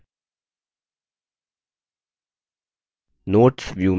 slides में अदलाबदली हो जाती है